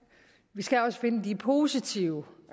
vi skal også finde de positive